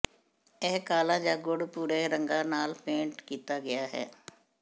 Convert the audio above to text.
ਇਹ ਕਾਲਾ ਜਾਂ ਗੂੜ ਭੂਰੇ ਰੰਗਾਂ ਨਾਲ ਪੇਂਟ ਕੀਤਾ ਗਿਆ ਹੈ